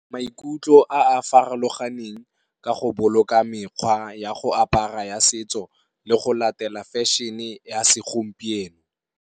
Maikutlo a a farologaneng ka go boloka mekgwa ya go apara ya setso le go latela fashion-e ya se gompieno.